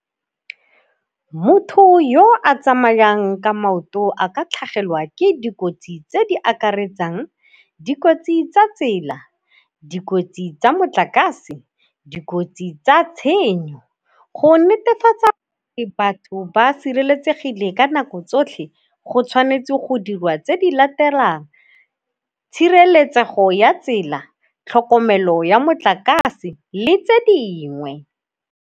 Motho yo a tsamayang ka maoto a ka tlhagelwa ke dikotsi tse di akaretsang, dikotsi tsa tsela, dikotsi tsa motlakase, dikotsi tsa tshenyo. Go netefatsa batho ba sireletsegile ka nako tsotlhe go tshwanetse go dirwa tse di latelang, tshireletsego ya tsela, tlhokomelo ya motlakase le tse dingwe.